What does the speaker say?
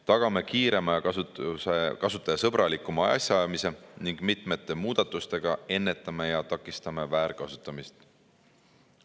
Tagame kiirema ja kasutajasõbralikuma asjaajamise ning mitmete muudatustega ennetame ja takistame väärkasutamist.